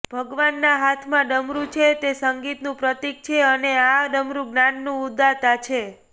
ભગવાનના હાથમાં ડમરું છે તે સંગીતનું પ્રતિક છે અને આ ડમરૂ જ્ઞાનનુ ઉદ્ગાતા છે